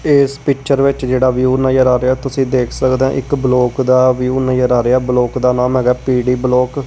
ਇਸ ਪਿੱਚਰ ਵਿੱਚ ਜਿਹੜਾ ਵੀਊ ਨਜ਼ਰ ਆ ਰਿਹਾ ਤੁਸੀਂ ਦੇਖ ਸਕਦੇ ਹੋ ਇੱਕ ਬਲੋਕ ਦਾ ਵਿਊ ਨਜ਼ਰ ਆ ਰਿਹਾ ਬਲੋਕ ਦਾ ਨਾਮ ਹੈਗਾ ਪੀਡੀ ਬਲੋਕ ।